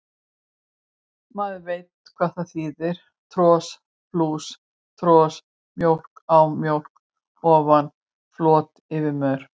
Maður veit hvað það þýðir, tros plús tros, mjólk á mjólk ofan, flot yfir mör.